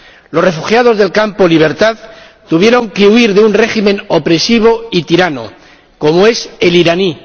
Los refugiados del campo Libertad tuvieron que huir de un régimen opresivo y tirano como es el iraní.